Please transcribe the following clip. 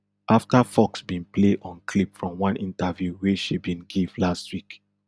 afta fox bin play on clip from one interview wey she bin give last week